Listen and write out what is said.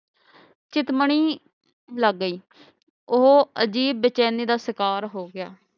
ਚਿਤ ਮਨੀ ਲਗ ਗਈ ਉਹ ਅਜੀਬ ਬੇਚੈਨੀ ਦਾ ਸ਼ਿਕਾਰ ਹੋ ਗਿਆ